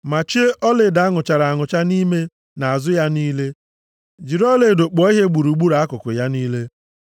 Machie ọlaedo a nụchara anụcha nʼime na azụ ya niile, jiri ọlaedo kpụọ ihe gburugburu akụkụ ya niile.